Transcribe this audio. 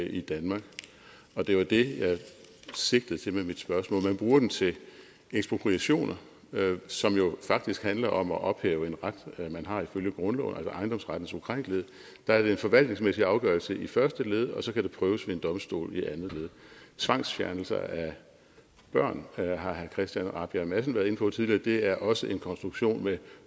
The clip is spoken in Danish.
i danmark og det var det jeg sigtede til med mit spørgsmål man bruger den til ekspropriationer som jo faktisk handler om at ophæve en ret man har ifølge grundloven altså ejendomsrettens ukrænkelighed der er det en forvaltningsmæssig afgørelse i første led og så kan den prøves ved en domstol i andet led tvangsfjernelser af børn har herre christian rabjerg madsen været inde på tidligere det er også en konstruktion med